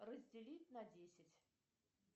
разделить на десять